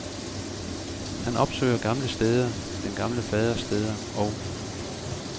Han opsøger gamle steder, den gamle faders steder og